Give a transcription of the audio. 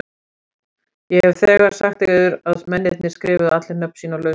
Ég hef þegar sagt yður að mennirnir skrifuðu allir nöfn sín á lausar arkir.